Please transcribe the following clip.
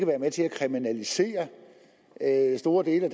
være med til at kriminalisere store dele af